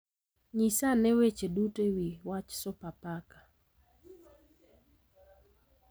Nyisa ane weche duto e wi wach Sopapaka